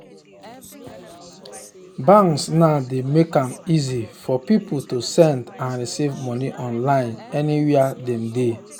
banks now dey make am easy for people to send and receive money online anywhere dem they.